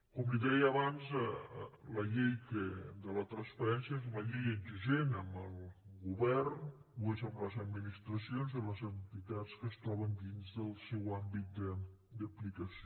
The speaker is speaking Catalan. com li deia abans la llei de la transparència és una llei exigent amb el govern ho és amb les administracions i les entitats que es troben dins del seu àmbit d’aplicació